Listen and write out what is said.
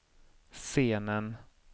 scenen